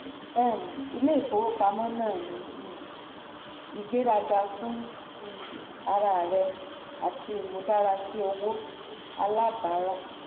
um ilé ìfowópamọ́ náà ní um ìgbéraga fún um um ara rẹ àti imúdárasí owó alábàárà.